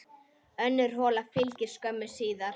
Önnur hola fylgdi skömmu síðar.